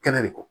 Kɛnɛ de kɔ